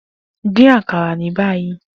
Din akara ni bayi!